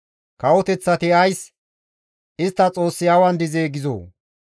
Kawoteththati ays, «Istta Xoossi awan dizee?» gizoo?